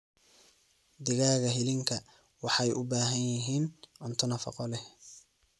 Digaaga hilinka waxay u baahan yihiin cunto nafaqo leh.